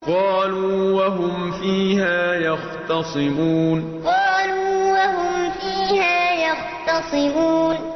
قَالُوا وَهُمْ فِيهَا يَخْتَصِمُونَ قَالُوا وَهُمْ فِيهَا يَخْتَصِمُونَ